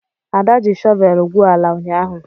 Ada ji shọvel gwuo ala ụnyahụ.